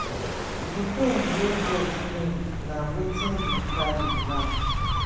di pain wey death bring na wetin we carry now